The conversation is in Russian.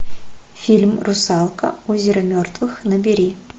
фильм русалка озеро мертвых набери